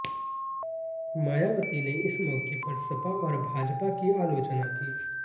मायावती ने इस मौके पर सपा और भाजपा की आलोचना की